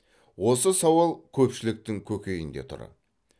осы сауал көпшіліктің көкейінде тұр